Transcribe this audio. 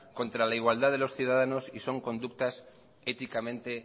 contra la igualdad de los ciudadanos y son consultas éticamente